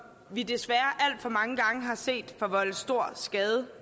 vi desværre alt for mange gange har set forvolde stor skade